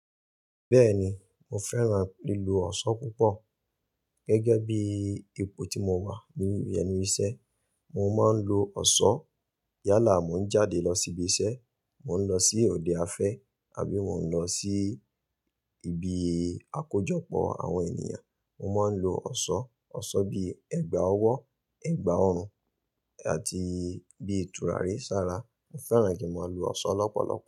Bẹ́ẹ̀ni, mo fẹ́ràn lílu ọ̀ṣọ́ púpọ̀. Gẹ́gẹ́ bí ipo tí mo wà ni ẹnu ìṣẹ́, mo máa ń lo ọ̀ṣọ́. Yálà mo ń jáde lọ síbi iṣẹ́, mo ń lọ sí òde afẹ́ àbí mo ń lọ sí ibi àkójọpọ̀ àwọn ènìyàn, mo máa ń lo ọ̀ṣọ́. Ọ̀ṣọ́ bíi ẹ̀gbà ọwọ́, ẹ̀gbà ọrùn àti bí turari sára. Mo fẹ́ràn kí mo lo ọ̀ṣọ́ lọ́pọ̀lọpọ̀